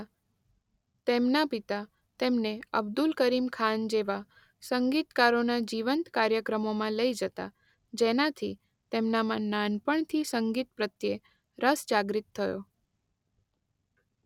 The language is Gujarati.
તેમના પિતા તેમને અબ્દુલ કરીમ ખાન જેવા સંગીતકારોના જીવંત કાર્યક્રમોમાં લઈ જતા જેનાથી તેમનામાં નાનપણથી સંગીત પ્રત્યે રસ જાગ્રત થયો.